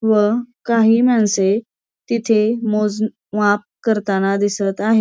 व काही माणस तिथे मोज माप करताना दिसत आहेत.